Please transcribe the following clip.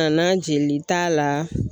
Ka na jelita la